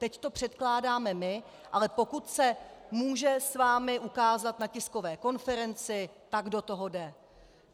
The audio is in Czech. Teď to předkládáme my, ale pokud se může s vámi ukázat na tiskové konferenci, tak do toho jde!